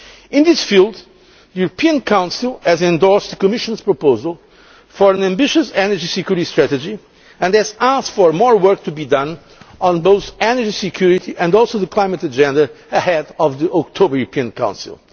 now, when? In this field, the European Council has endorsed the Commission's proposal for an ambitious Energy Security Strategy and has asked for more work to be done on both energy security and the climate agenda ahead of the October European